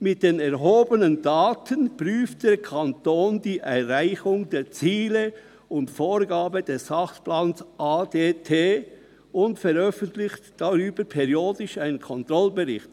Mit den erhobenen Daten prüft der Kanton die Erreichung der Ziele und Vorgaben des Sachplans ADT und veröffentlicht darüber periodisch einen Controllingbericht.